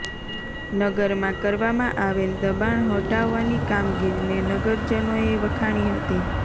નગરમાં કરવામાં આવેલ દબાણ હટાવવાની કામગીરીને નગરજનોએ વખાણી હતી